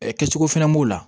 kɛcogo fɛnɛ b'o la